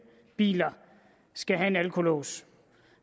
biler skal have en alkolås